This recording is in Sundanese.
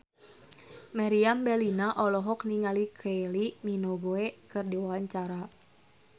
Meriam Bellina olohok ningali Kylie Minogue keur diwawancara